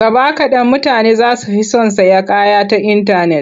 Gaba kaɗan mutane za su fi son sayan kaya ta intanet.